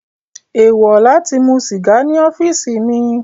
Eewọ lati mu siga ni ọfiisi mi